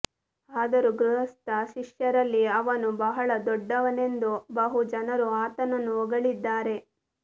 ಆದರೂ ಗೃಹಸ್ಥ ಶಿಷ್ಯರಲ್ಲಿ ಅವನು ಬಹಳ ದೊಡ್ಡವನೆಂದು ಬಹು ಜನರು ಆತನನ್ನು ಹೊಗಳಿದ್ದಾರೆ